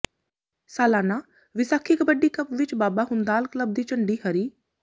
ਸਾਲਾਨਾ ਵਿਸਾਖੀ ਕਬੱਡੀ ਕੱਪ ਵਿਚ ਬਾਬਾ ਹੁੰਦਾਲ ਕਲੱਬ ਦੀ ਝੰਡੀ ਰਹੀ